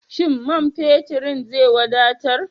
Shin man feturn zai wadatar?